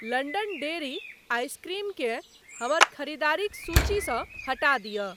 London dairy ice cream केँ हमर खरीदारिक सूचीसँ हटा दिय।